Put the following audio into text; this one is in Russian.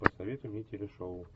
посоветуй мне телешоу